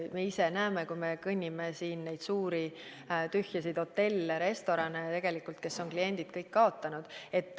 Me ise näeme, kui me siin kõnnime, neid suuri tühje hotelle, restorane, kes on kõik kliendid kaotanud.